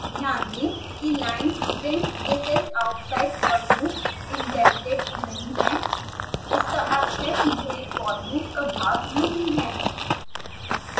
ध्यान दें कि line printthis is outside forloop indented नहीं है